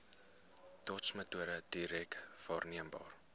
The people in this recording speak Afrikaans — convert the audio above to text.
dotsmetode direk waarneembare